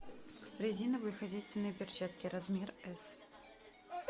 резиновые хозяйственные перчатки размер с